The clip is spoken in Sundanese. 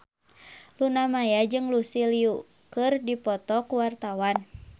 Luna Maya jeung Lucy Liu keur dipoto ku wartawan